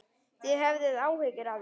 Þið höfðuð áhyggjur af því?